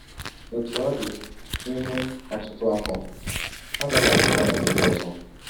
Otú ọ dị, n’ime ọtụtụ afọ, ha dabara n’ọnyà ndị ọzọ.